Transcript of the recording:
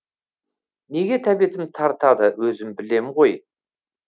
неге тәбетім тартады өзім білем ғой